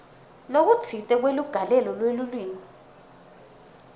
lokutsite kweligalelo lelulwimi